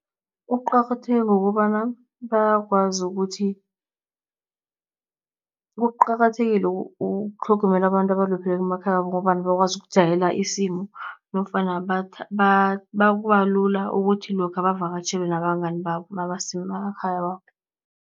Kuqakatheke ngokobana bayakwazi ukuthi. Kuqakathekile ukutlhogomela abantu abalupheleko emakhaya wabo, ngombana bakwazi ukujayela isimo nofana kubalula ukuthi lokha bavakatjhele nabangani babo mabasemakhaya wabo.